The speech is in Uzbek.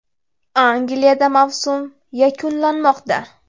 Angliyada mavsum yakunlanmoqda.